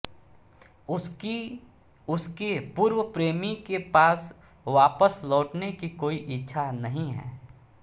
उसकी उसके पूर्व प्रेमी के पास वापस लौटने की कोई इच्छा नहीं है